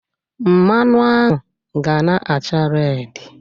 Mmanụ ahụ ga na-acha redi